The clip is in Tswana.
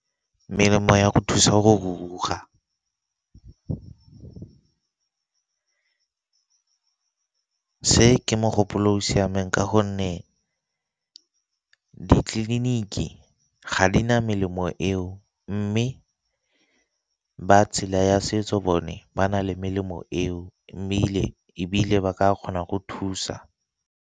Melemo ya go thusa go go ruruga , se ke mogopolo o o siameng ka gonne ditleliniki ga di na melemo eo mme ba tshela ya setso bone ba na le melemo eo ebile ba ka kgona go thusa.